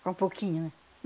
Com pouquinho, né?